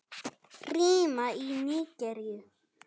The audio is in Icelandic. Rima í Nígeríu